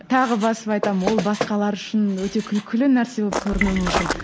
тағы басып айтамын ол басқалар үшін өте күлкілі нәрсе болып көрінуі мүмкін